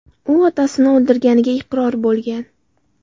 U otasini o‘ldirganiga iqror bo‘lgan.